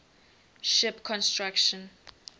ship construction